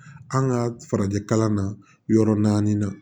An ka farajɛ kalan na yɔrɔ naani na